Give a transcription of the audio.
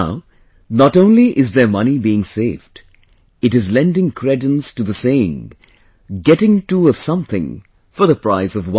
Now not only their money is being saved; and lending credence to the saying of 'Getting two of something, for the price of one